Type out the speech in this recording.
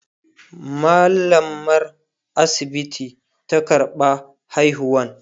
mallamar asibiti ta karɓa haihuwan